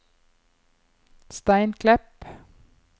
Steinklepp